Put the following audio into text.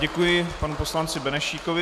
Děkuji panu poslanci Benešíkovi.